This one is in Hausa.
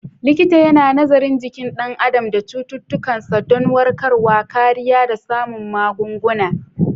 Likita yana nazarin jikin ɗan adam da cututtukansa don warkarwa, kariya, da samun magunguna.